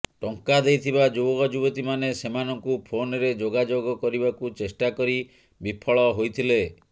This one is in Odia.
ଟଙ୍କା ଦେଇଥିବା ଯୁବକ ଯୁବତୀମାନେ ସେମାନଙ୍କୁ ଫୋନ୍ରେ ଯୋଗାଯୋଗ କରିବାକୁ ଚେଷ୍ଟା କରି ବିଫଳ ହୋଇଥିଲେ